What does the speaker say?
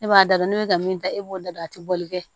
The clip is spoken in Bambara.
E b'a da don n'o bɛ ka min ta e b'o da don a tɛ bɔli kɛ